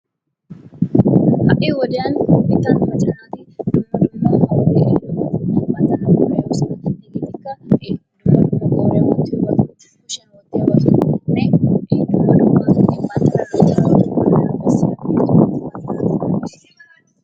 Ha'i wodiyaan nu biittan macca naati dumma dumma wode ehobattanne leemisuwawu hegeetikka dumma dumma qooriyaan wottiyobatanne kushshiyan wotiyoobatanne dumma dumma banttana loyttanawu bessiyabata go'ettoosona.